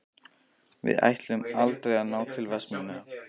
Við ætluðum aldrei að ná til Vestmannaeyja.